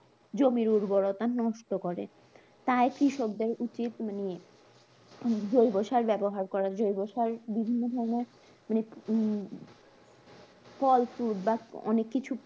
জমির উর্বরতা নষ্ট করে, তাই কৃষকদের উচিত মানে জৈবসার ব্যাবহার করা জৈবসার বিভিন্ন ধরনের মানে হম ফল ফুল বা অনেক কিছু